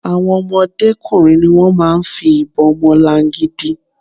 Àwon ọmọdé kùnrin ni wón máa ń fi ìbon ọmọlangidi.